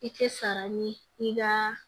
I tɛ sara ni i ka